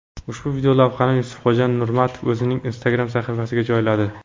Ushbu videolavhani Yusufxon Nurmatov o‘zining Instagram sahifasiga joyladi.